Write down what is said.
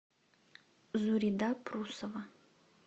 зурида прусова